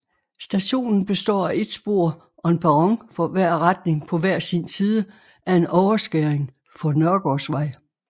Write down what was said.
Stationen består af et spor og en perron for hver retning på hver sin side af en overskæring for Nørgaardsvej